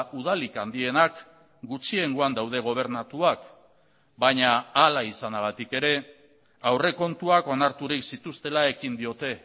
udalik handienak gutxiengoan daude gobernatuak baina hala izanagatik ere aurrekontuak onarturik zituztela ekin diote